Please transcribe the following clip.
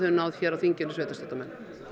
náð hér á þinginni sveitarstjórnarmenn